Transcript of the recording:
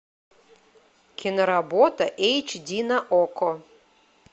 киноработа эйч ди на окко